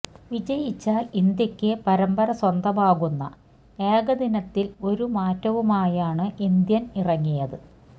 വിജയിച്ചാല് ഇന്ത്യയ്ക്ക് പരമ്പര സ്വന്തമാകുന്ന ഏകദിനത്തില് ഒരു മാറ്റവുമായാണ് ഇന്ത്യന് ഇറങ്ങിയത്